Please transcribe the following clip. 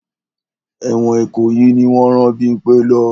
Ẹ̀wọ̀n Ìkòyí ni wọ́n rán Bímpẹ́ lọ.